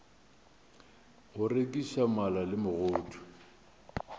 go rekiša mala le megodu